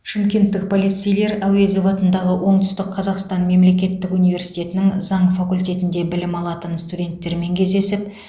шымкенттік полицейлер әуезов атындағы оңтүстік қазақстан мемлекеттік университетінің заң факультетінде білім алатын студенттермен кездесіп